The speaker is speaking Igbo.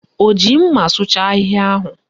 O ji mma sụcha ahịhịa ahụ?